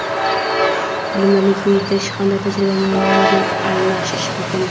"bilimlarni kengaytirish hamda tajriba va ma’lumot almashish" muhim.